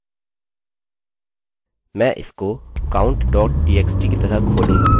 मैं इसको counttxt की तरह खोलूँगा क्योंकि यह वही है